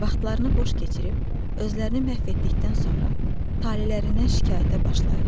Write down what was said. Vaxtlarını boş keçirib, özlərini məhv etdikdən sonra talelərindən şikayətə başlayırlar.